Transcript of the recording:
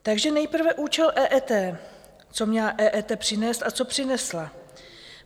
Takže nejprve účel EET, co měla EET přinést a co přinesla.